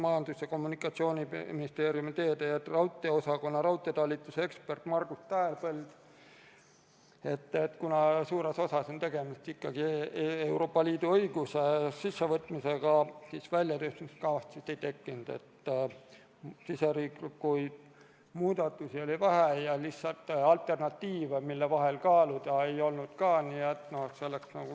Majandus- ja Kommunikatsiooniministeeriumi teede- ja raudteeosakonna raudteetalituse ekspert Margus Tähepõld ütles, et kuna suures osas on tegemist ikkagi Euroopa Liidu õiguse ülevõtmisega, siis väljatöötamiskavatsust ei tehtud, riigisiseseid muudatusi oli vähe ja alternatiive, mille vahel kaaluda, ei olnud ka.